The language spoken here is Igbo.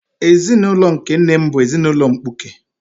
Ezinaụlọ nke nna m bụ ezinaụlọ mkpuke.